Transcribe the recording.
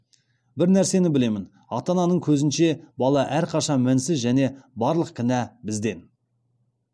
бір нәрсені білемін ата ананың көзінше бала әрқашан мінсіз және барлық кінә бізден